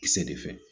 Kisɛ de fɛ